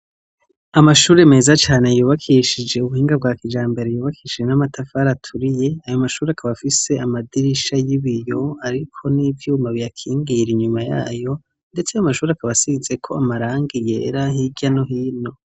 Amashure meza cane yubakishije ubuhinga bwa kijambere bwubakishijwe namatafari aturiye ayo mashure akaba ariko nivyuma biyakingiye ndetse ayo mashure akaba asizeko amarangi yera Hirya no hino.